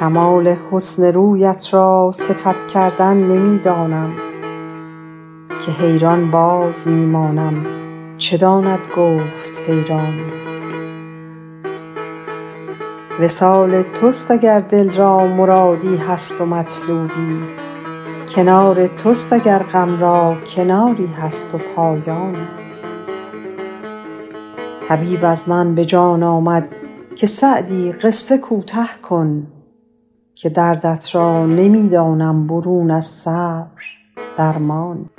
کمال حسن رویت را صفت کردن نمی دانم که حیران باز می مانم چه داند گفت حیرانی وصال توست اگر دل را مرادی هست و مطلوبی کنار توست اگر غم را کناری هست و پایانی طبیب از من به جان آمد که سعدی قصه کوته کن که دردت را نمی دانم برون از صبر درمانی